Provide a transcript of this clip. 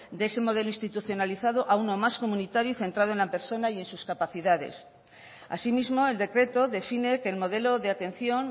de ese modelo institucionalizado a uno más comunitario y centrado en la persona y en sus capacidades asimismo el decreto define que el modelo de atención